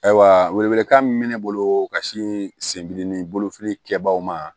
Ayiwa welewelekan min bɛ ne bolo ka sin sendimi bolofili kɛbagaw ma